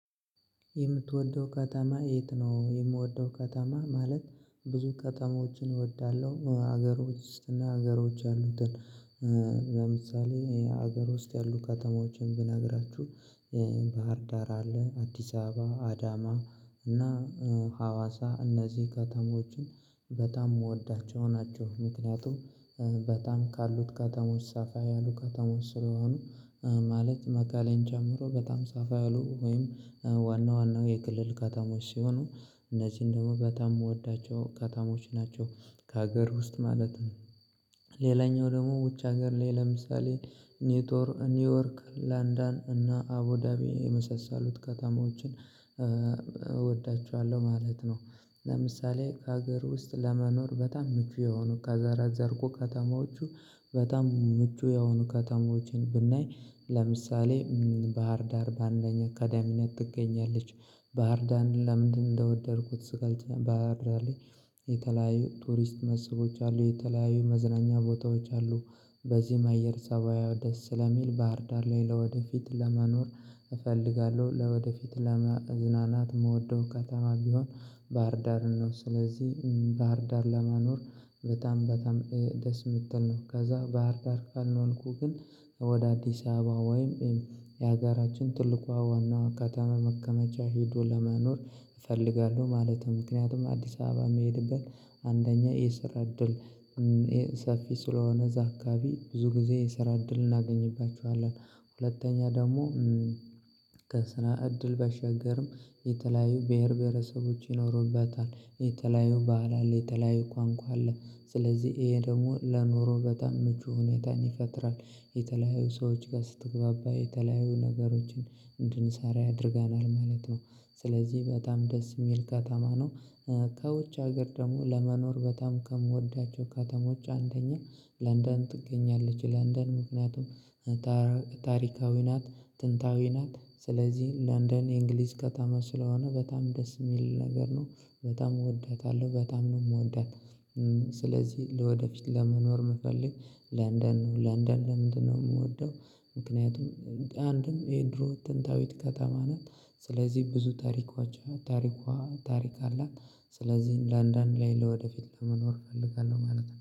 የምትወደው ከተማ የት ነው? የምወደው ከተማ ማለት ብዙ ከተማዎችን እወዳለሁ ሀገር ውስጥ እና ሀገር ውጭ ያሉትን። ለምሳሌ ሀገር ውስጥ ያሉ ከተማዎችን ብነግራችሁ ባህር ዳር አለ አዲስ አበባ አዳማ እና ሀዋሳ እነዚህ ከተሞችን በጣም የምወዳቸው ናቸው። ምክንያቱም በጣም ካሉት ከተሞች ሰፋ ያሉ ከተሞች ስለሆኑ ማለት መቀሌን ጨምሮ በጣም ሰፋ ያሉ ወይም ዋና ዋና የክልል ከተሞች ሲሆኑ እነዚህን ደግሞ በጣም የምወዳቸው ከተሞች ናቸው ከሀገር ውስጥ ማለት ነው። ሌላኛው ደግሞ ውጭ ሀገር ላይ ለምሳሌ ኔትወር ኒውዮርክ ለንዳን እና አቡዳቢ የመሰሰሉት ከተማዎችን እወዳቸዋለሁ ማለት ነው። ለምሳሌ ከሀገር ውስጥ ለመኖር በጣም ምቹ የሆኑ ከዘረዘርኩ ከተማዎቹ በጣም ምቹ የሆኑ ከተሞችን ብናይ ለምሳሌ ባህር ዳር በአንደኛ ቀዳሚነት ትገኛለች። ባህርዳርን ለምንድነው እንደወደድኩት ስገልጽ ባህር ዳር ላይ የተለያዩ ቱሪስት መስቦች አሉ የተለያዩ መዝናኛ ቦታዎች አሉ። በዚህም አየር ፀባዩዋ ደስ ስለሚል ባህርዳር ላይ ለወደፊት ለመኖር እፈልጋለሁ ለወደፊት ለመዝናናት የምወደው ከተማ ቢሆን ባህርዳርን ነው ስለዚህ ባህር ዳር ለመኖር በጣም በጣም ደስ የምትል ነው። ከዛ ባህር ዳር ካልሆንኩኝ ግን ወደ አዲስ አበባ ወይም የሀገራችን ትልቋ ዋናዋ ከተማ መቀመቻ ሄዶ ለመኖር እፈልጋለሁ ማለት ነው። ምክንያቱም አዲስ አበባ የሚሄድበት አንደኛ የስራ እድል ሰፊ ስለሆነ እዛ አካባቢ ብዙ ጊዜ የስራ እድል እናገኝባቸዋለን። ሁለተኛ ደግሞ ከስራ እድል ባሻገርም የተለያዩ ብሄር ብሄረሰቦች ይኖሩበታል የተለያዩ ባህል አለ የተለያዩ ቋንቋ አለ ስለዚህ ይሄ ደግሞ ለኖሮ በጣም ምቹ ሁኔታን ይፈጥራል። የተለያዩ ሰዎች ጋር ስትግባባ የተለያዩ ነገሮችን እንድንሰራ ያደርገናል ማለት ነው ስለዚህ በጣም ደስ የሚል ከተማ ነው። ከውጭ ሀገር ደግሞ ለመኖር በጣም ከምወዳቸው ከተሞች አንደኛ ለንደን ትገኛለች። ለንደን ምክንያቱም ታሪካዊ ናት ጥንታዊ ናት ስለዚህ ለንደን የእንግሊዝ ከተማ ስለሆነ በጣም ደስ የሚል ነገር ነው። በጣም እወዳታለሁ በጣም ነው የምወዳት። ስለዚህ ለወደፊት ለመኖር የምፈልግ ለንደን ነው። ለንደን ለምንድነው የምወደው? ምክንያቱም አንድም የድሮ ጥንታዊት ከተማ ናት ስለዚህ ብዙ ታሪኳቸው ታሪኳ ታሪክ አላት። ስለዚህ ለንደን ላይ ለወደፊት ለመኖር እፈልጋለሁ ማለት ነው